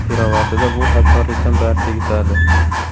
Pirovardida bu hamkorlikdan barcha yutadi.